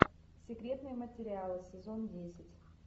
секретные материалы сезон десять